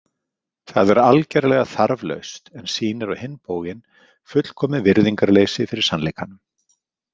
Það er algerlega þarflaust en sýnir á hinn bóginn fullkomið virðingarleysi fyrir sannleikanum.